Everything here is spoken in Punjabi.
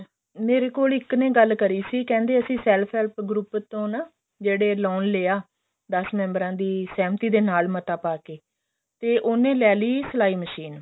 ਮੇਰੇ ਕੋਲ ਇੱਕ ਨੇ ਗੱਲ ਕਰੀ ਸੀ ਕਹਿੰਦੇ ਅਸੀਂ self help group ਤੋਂ ਨਾ ਜਿਹੜੇ loan ਲਿਆ ਦਸ member ਆ ਦੀ ਸਹਿਮਤੀ ਨਾਲ ਮਤਾ ਪਾ ਕੇ ਤੇ ਉਹਨੇ ਲੈ ਲਈ ਸਲਾਈ ਮਸ਼ੀਨ